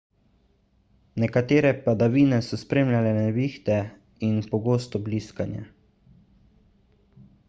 nekatere padavine so spremljale nevihte in pogosto bliskanje